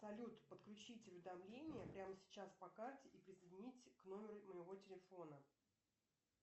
салют подключить уведомления прямо сейчас по карте и присоединить к номеру моего телефона